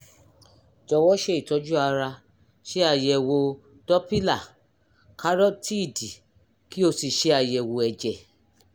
jọ̀wọ́ ṣe ìtọ́jú ara ṣe àyẹ̀wò dọ́pílà kárótíìdì kí o sì ṣe àyẹ̀wò ẹ̀jẹ̀